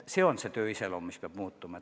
Töö iseloom peab muutuma.